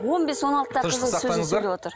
он бес он алтыдағы сөйлеп отыр